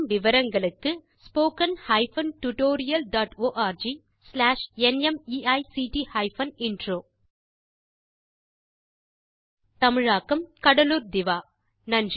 மேற்கொண்டு விவரங்களுக்கு spoken hyphen tutorial dot org slash NMEICT hyphen intro தமிழில் கடலூர் திவா